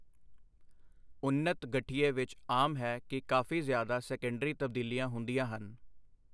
ਉੱਨਤ ਗਠੀਏ ਵਿੱਚ ਆਮ ਹੈ ਕਿ ਕਾਫ਼ੀ ਜ਼ਿਆਦਾ ਸੈਕੰਡਰੀ ਤਬਦੀਲੀਆਂ ਹੁੰਦੀਆਂ ਹਨ।